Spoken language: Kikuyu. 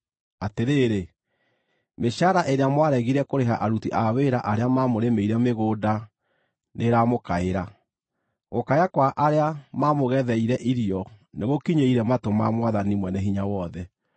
Atĩrĩrĩ! Mĩcaara ĩrĩa mwaregire kũrĩha aruti a wĩra arĩa maamũrĩmĩire mĩgũnda nĩĩramũkaĩra. Gũkaya kwa arĩa maamũgetheire irio nĩgũkinyĩire matũ ma Mwathani Mwene hinya wothe.